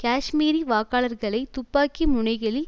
காஷ்மீரி வாக்காளர்களை துப்பாக்கி முனைகளில்